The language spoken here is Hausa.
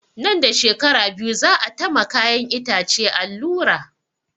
Nan da shekara biyu za a ta ma kayan itace allura